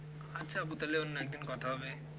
আচ্ছা আপু তাহলে অন্য একদিন কথা হবে